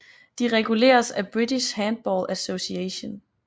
De reguleres af British Handball Association